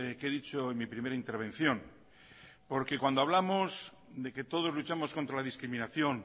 que he dicho en mi primera intervención porque cuando hablamos de que todos luchamos contra la discriminación